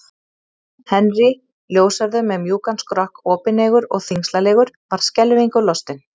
Henry, ljóshærður með mjúkan skrokk, opineygur og þyngslalegur, varð skelfingu lostinn.